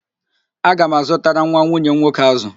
Aga m azụtara nwa nwunye m nwoke ázụ̀